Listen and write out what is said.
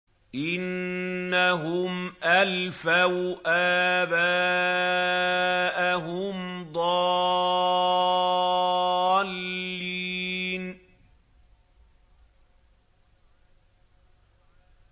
إِنَّهُمْ أَلْفَوْا آبَاءَهُمْ ضَالِّينَ